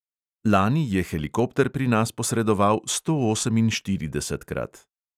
Lani je helikopter pri nas posredoval stooseminštiridesetkrat.